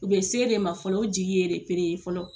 U be s'e de ma fɔlɔ u jigi ye e de pere ye fɔlɔ